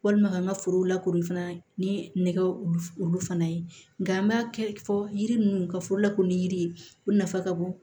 Walima ka n ka foro lakori fana ni nɛgɛ wulu wulu fana ye nka an b'a kɛ fɔ yiri ninnu ka foro lakodɔn ni yiri ye u nafa ka bon